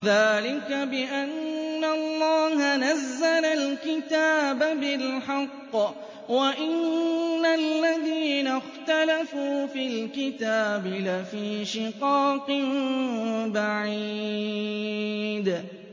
ذَٰلِكَ بِأَنَّ اللَّهَ نَزَّلَ الْكِتَابَ بِالْحَقِّ ۗ وَإِنَّ الَّذِينَ اخْتَلَفُوا فِي الْكِتَابِ لَفِي شِقَاقٍ بَعِيدٍ